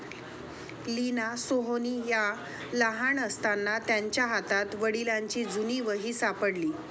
लीना सोहोनी या लहान असताना त्यांच्या हातात वडिलांची जुनी वही सापडली.